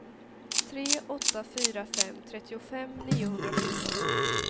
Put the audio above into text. tre åtta fyra fem trettiofem niohundrasjutton